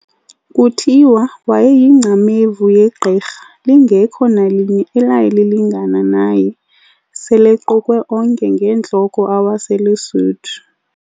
Kuthiwa wayeyingcamevu yegqirha, lingekho nalinye elaye lilingana naye, sel'equkwe onke ngeentloko awaseluSuthu.